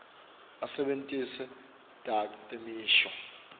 asebentise takhi temisho